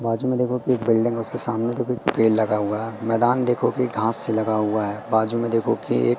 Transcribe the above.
बाजू में देखो कि बिल्डिंग उसके सामने तो कोई पेड़ लगा हुआ है मैदान देखो घास लगा हुआ है बाजू में देखो के--